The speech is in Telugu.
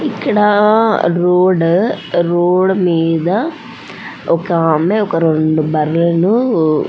ఇక్కడ రోడ్ రోడ్ మీద ఒకామె ఒక రెండు బర్లూ --